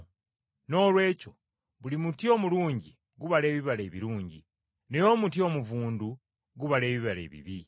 Noolwekyo buli muti omulungi gubala ebibala ebirungi, naye omuti omuvundu gubala ebibala ebibi.